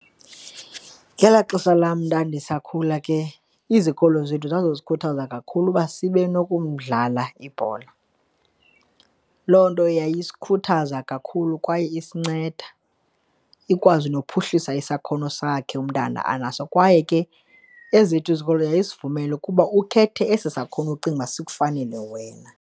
Ngelaa xesha lam ndandisakhula ke izikolo zethu zazisikhuthaza kakhulu uba sibe nokumdlala ibhola. Loo nto yayisikhuthaza kakhulu kwaye isinceda ikwazi nokuphuhlisa isakhono sakhe umntana anaso kwaye ke ezethu izikolo yayisivumela ukuba ukhethe esi sakhono ucinga uba sikufakele wena.